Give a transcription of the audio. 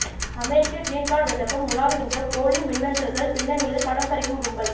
அமெரிக்க green card விண்ணப்பம் உலாவுகின்றன போலி மின்னஞ்சல்கள் பின்னணியில் பணம் பறிக்கும் கும்பல்